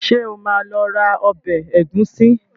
Ṣé o máa lọ ra ọbẹ̀ ẹ̀gúsí?